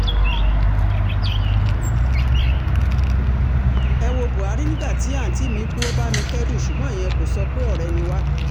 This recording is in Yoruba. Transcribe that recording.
ẹ wo buhari nígbà tí àunti mi kú ó bá mi kẹ́dùn ṣùgbọ́n ìyẹn kò sọ pé ọ̀rẹ́ ni wá